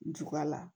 Juga la